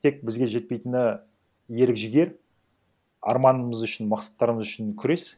тек бізге жетпейтіні ерік жігер арманымыз үшін мақсаттарымыз үшін күрес